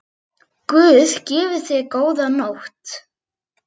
Guð gefi þér góða nótt.